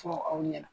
Fɔ aw ɲɛna